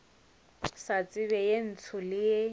sa tseba ye ntsho le